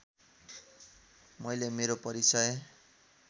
मैले मेरो परिचय